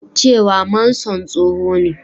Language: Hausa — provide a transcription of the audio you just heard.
cewa Manson tsoho ne